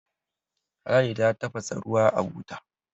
ladi ta tafasa ruwa a buta